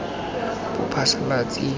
bophasalatsi